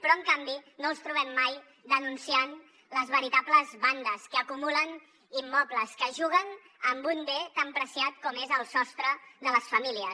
però en canvi no els trobem mai denunciant les veritables bandes que acumulen immobles que juguen amb un bé tan preuat com és el sostre de les famílies